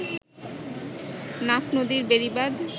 নাফ নদীর বেড়িবাঁধ